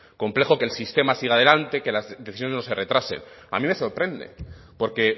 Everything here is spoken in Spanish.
complejo que el sistema siga adelante que las decisiones no se retrasen a mí me sorprende porque